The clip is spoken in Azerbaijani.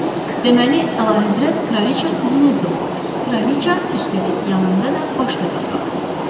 Deməli, əlahəzrət kraliça sizin evdə olub, kraliça, üstəlik yanında da başqa bir qadın.